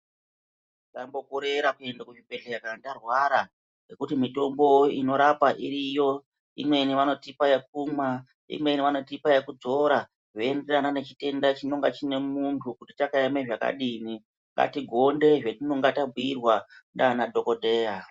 Tisambo korera kuenda kuzvibhedhleya kana tarwara ngekuti mitombo ino rapa iriyo. Imweni vanotipa yekumwa, imweni anotipa yekudzora zvei enderana nechitenda chinonga chine muntu kuti chakaema zvakadini. Ngati gonde zvetinonga tabhuirwa ndiana dhokodheya.